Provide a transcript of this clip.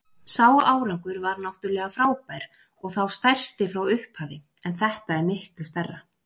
Sá árangur var náttúrlega frábær og þá stærsti frá upphafi en þetta er miklu stærra.